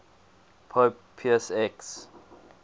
pope pius x